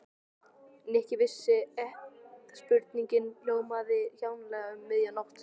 Nikki vissi að spurningin hljómaði kjánalega um miðja nótt.